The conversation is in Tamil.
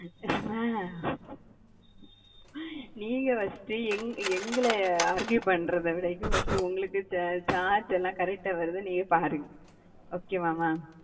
மா நீங்க first எங்கள argue பண்றத விட first உங்களுக்கு charge லாம் correct டா வருதானு நீயே பாருங்க okay வா மா?